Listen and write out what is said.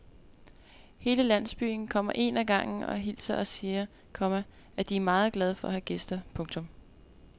Hele landsbyen kommer en ad gangen og hilser og siger, komma at de er meget glade for at have gæster. punktum